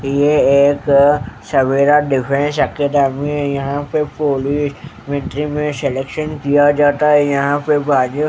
ये एक Savera defence academy यहां पे पोलिस मिट्री में सिलेक्शन किया जाता है यहां पे बाजू--